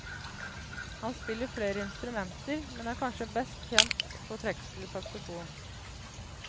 Han spiller flere instrumenter, men er kanskje mest kjent på trekkspill og saxofon.